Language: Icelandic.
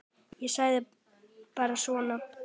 Ég segi bara svona.